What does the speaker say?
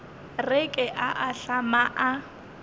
re ke a ahlama a